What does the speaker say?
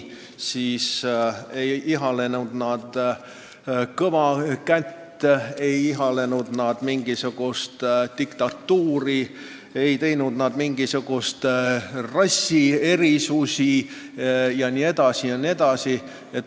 Vabadussõjalased ei ihalenud kõva kätt, ei ihalenud mingisugust diktatuuri, ei teinud nad mingisuguseid rassierisusi jne, jne.